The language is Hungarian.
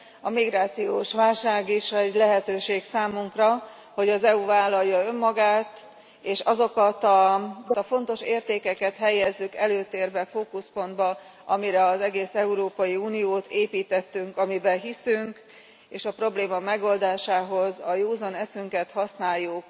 A migrációs válság is egy lehetőség számunkra, hogy az EU vállalja önmagát, és azokat a dolgokat, azokat a fontos értékeket helyezzük előtérbe, fókuszpontba, amire az egész Európai Uniót építettük, amiben hiszünk, és a probléma megoldásához a józan eszünket használjuk.